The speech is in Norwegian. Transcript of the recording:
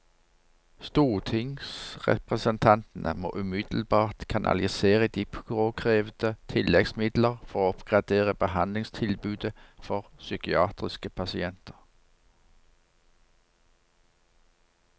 Stortingsrepresentantene må umiddelbart kanalisere de påkrevede tilleggsmidler for å oppgradere behandlingstilbudet for psykiatriske pasienter.